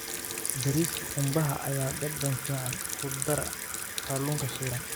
Bariiska qumbaha ayaa dhadhan fiican ku dara kalluunka shiilan.